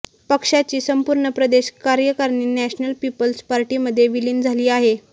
पक्षाची संपूर्ण प्रदेश कार्याकारणी नॅशनल पिपल्स पार्टीमध्ये विलिन झाली आहे